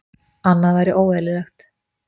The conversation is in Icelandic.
Annað væri óeðlilegt